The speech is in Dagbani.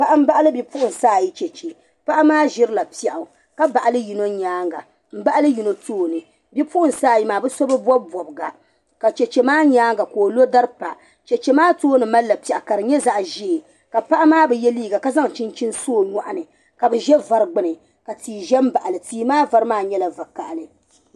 Paɣa m-baɣili bipuɣinsi ayi cheche. Paɣa maa ʒirila piɛɣu ka baɣili yino nyaaŋga m-baɣili yino tooni. Bipuɣinsi ayi maa bɛ so bi bɔbi bɔbiga ka cheche maa nyaaŋga ka o lo dari pa. Cheche maa tooni malila piɛɣu ka di nyɛ zaɣ' ʒee ka paɣa maa bi ye liiga ka zaŋ chinchini so o nyɔɣu ni ka bɛ za vari gbini ka tia za m-baɣi li. Tia maa vari maa nyɛla vakahili.